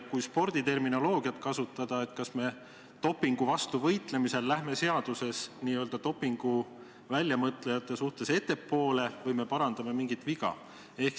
Kui sporditerminoloogiat kasutada, siis kas dopingu vastu võitlemisel läheme seaduses n-ö dopingu väljamõtlejatest ettepoole või parandame mingit viga?